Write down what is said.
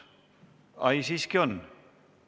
Ai, siiski on.